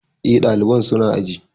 Eh, ɗalibai su na aji